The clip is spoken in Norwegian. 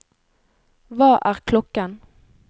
hva er klokken